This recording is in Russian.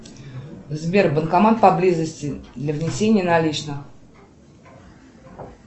сбер банкомат поблизости для внесения наличных